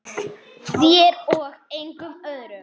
Tókstu þau í óleyfi?